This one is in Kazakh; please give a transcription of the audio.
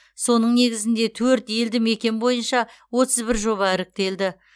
соның негізінде төрт елді мекен бойынша отыз бір жоба іріктелді